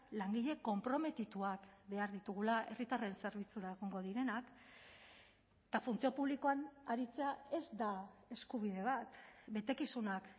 langile konprometituak behar ditugula herritarren zerbitzura egongo direnak eta funtzio publikoan aritzea ez da eskubide bat betekizunak